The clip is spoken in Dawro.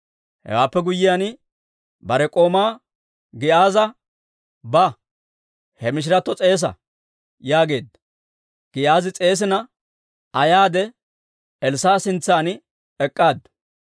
Hewaappe guyyiyaan, bare k'oomaa Giyaaza, «Ba; he mishiratto s'eesa» yaageedda; Giyaazi s'eesina, Aa yaade Elssaa'a sintsan ek'k'aaddu.